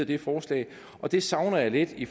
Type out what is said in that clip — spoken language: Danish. det forslag og det savner jeg lidt i